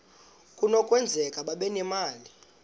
kunokwenzeka babe nemali